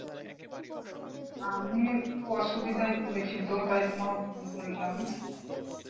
আমি একটু অসুবিধায় পড়েছি তো তাই তোমাকে phone করলাম।